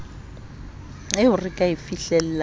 eo re ka e fihlelang